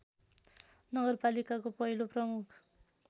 नगरपालिकाको पहिलो प्रमुख